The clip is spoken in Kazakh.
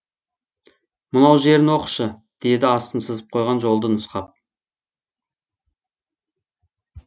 мынау жерін оқышы деді астын сызып қойған жолды нұсқап